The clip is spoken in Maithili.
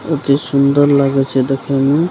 अति सुन्दर लागे छै देखे मे --